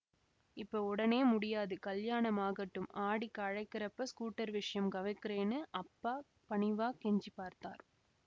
இப்ப உடனே முடியாது கலியாணம் ஆகட்டும் ஆடிக்கு அழைக்கறப்ப ஸ்கூட்டர் விஷயம் கவக்கிறேன்னு அப்பா பணிவாக் கெஞ்சிப் பார்த்தார்